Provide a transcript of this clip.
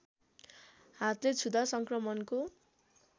हातले छुँदा सङ्क्रमणको